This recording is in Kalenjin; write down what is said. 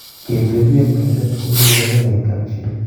Ketepi eng meset koipu kipakenge eng kapchi